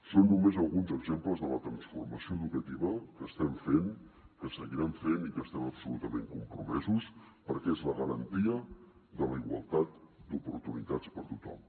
són només alguns exemples de la transformació educativa que estem fent que seguirem fent i que hi estem absolutament compromesos perquè és la garantia de la igualtat d’oportunitats per a tothom